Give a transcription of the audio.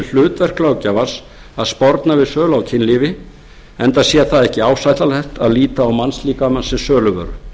hlutverk löggjafans að sporna við sölu á kynlífi enda sé ekki ásættanlegt að líta á mannslíkamann sem söluvöru einnig er gengið út frá